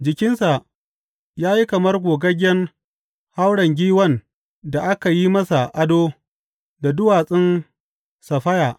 Jikinsa ya yi kamar gogaggen hauren giwan da aka yi masa ado da duwatsun saffaya.